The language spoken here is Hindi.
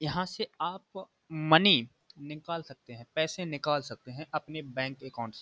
यहां से आप मनी निकाल सकते हैं पैसे निकाल सकते हैं अपने बैंक के अकाउंट से।